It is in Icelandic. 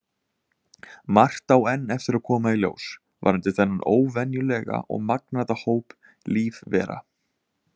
Margt á enn eftir að koma í ljós varðandi þennan óvenjulega og magnaða hóp lífvera.